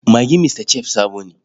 Magin Mr Chef sabo ne.